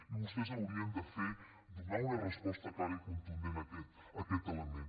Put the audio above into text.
i vostès haurien de fer donar una resposta clara i contundent a aquest element